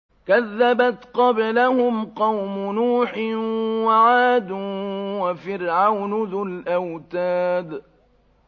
كَذَّبَتْ قَبْلَهُمْ قَوْمُ نُوحٍ وَعَادٌ وَفِرْعَوْنُ ذُو الْأَوْتَادِ